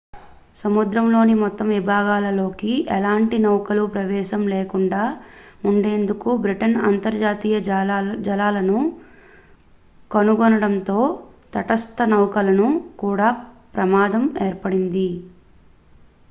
సముద్రంలోని మొత్తం విభాగాలలోకి ఎలాంటి నౌకలకు ప్రవేశం లేకుండా ఉండేందుకు బ్రిటన్ అంతర్జాతీయ జలాలను కనుగొనడంతో తటస్థ నౌకలకు కూడా ప్రమాదం ఏర్పడింది